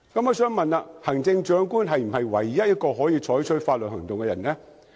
我想問，行政長官是否唯一可以採取法律行動的人呢？